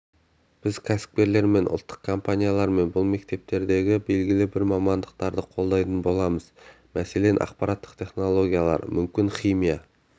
біз кәсіпкерлермен ұлттық компаниялармен бұл мектептердегі белгілі бір мамандықтарды қолдайтын боламыз мәселен ақпараттық технологиялар мүмкін химия